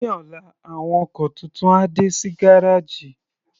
Ní ọ̀la, àwọn ọkọ̀ tuntun á dé sí gárèjì.